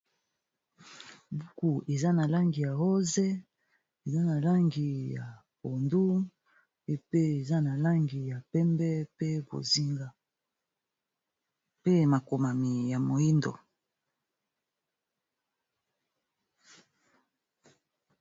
buku eza na langi ya rose eza na langi ya pondu epe eza na langi ya pembe pe bozinga pe makomami ya moindo